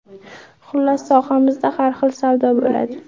Xullas, sohamizda har xil savdo bo‘ladi.